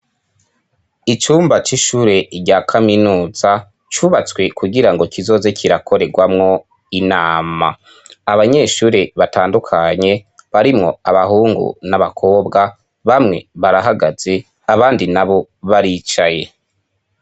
Icumba c'ishure rya kaminuza cubatswe kugira ngo kizoze kirakorerwamwo inama abanyeshure batandukanye barimwo abahungu n'abakobwa bamwe barahagaze abandi na bo baricaye.